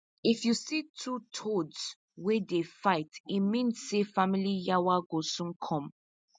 if you see two toads wey dey fight e mean say family yawa go soon come